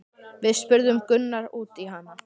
Við spurðum Gunnar út í hana?